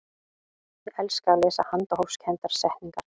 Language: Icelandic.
ég elska að lesa handahófskendar settningar